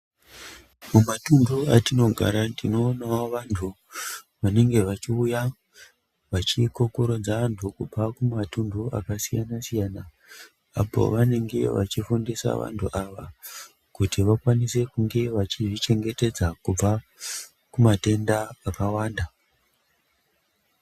Kumatundu kwatinogara tinoonawo vantu vanenge vachiita vachikokorodza vantu kubva kumatundu akasiyana siyana apo pavanenge vachifundira vantu ava kuti vakwanise kunge vachizvichengetedza kubva kumatenda akawanda.